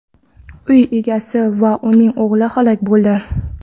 Uy egasi va uning o‘g‘li halok bo‘ldi.